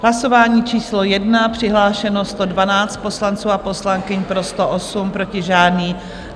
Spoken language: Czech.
V hlasování číslo 1 přihlášeno 112 poslanců a poslankyň, pro 108, proti žádný.